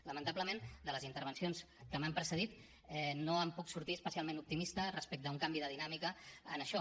lamentablement de les intervencions que m’han precedit no en puc sortir especialment optimista respecte a un canvi de dinàmica en això